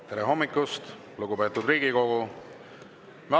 Tere hommikust, lugupeetud Riigikogu!